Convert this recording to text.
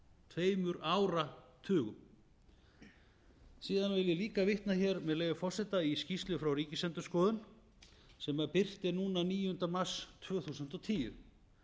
tveimur áratugum síðan vil ég líka vitna hér með leyfi forseta í skýrslu frá ríkisendurskoðun sem birt er núna níunda mars tvö þúsund og tíu